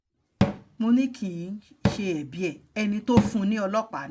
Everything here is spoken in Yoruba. mo ní kì um í ṣe ẹbí ẹ̀ ẹni tó fún un ní ọlọ́pàá um ni